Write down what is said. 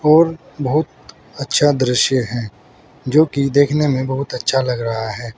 और बहुत अच्छा दृश्य है जो कि देखने में बहुत अच्छा लग रहा है।